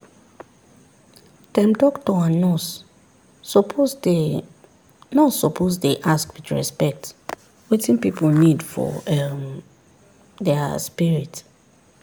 dem doctor and nurse suppose dey nurse suppose dey ask with respect wetin pipu need for um dia spirit.